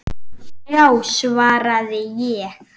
Já, svaraði ég.